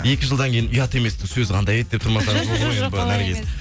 екі жылдан кейін ұят еместің сөзі қандай еді деп тұрмасаңыз болды ғой енді наргиз